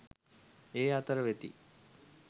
ඒ අතර වෙති.